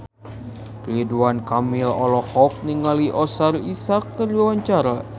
Ridwan Kamil olohok ningali Oscar Isaac keur diwawancara